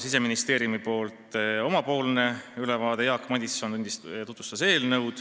Siseministeerium andis omalt poolt ülevaate ja Jaak Madison tutvustas eelnõu.